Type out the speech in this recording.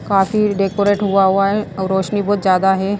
काफी डेकोरेट हुआ हुआ है और रोशनी बहुत ज्यादा है।